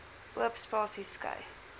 oop spasies skei